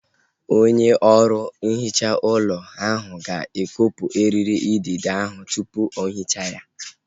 Onye ọrụ nhicha ụlọ ahu ga-ekopu eriri idide ahu tupu o hichaa ya